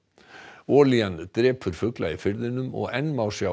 olían drepur fugla í firðinum og enn má sjá